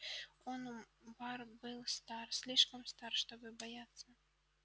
онум бар был стар слишком стар чтобы бояться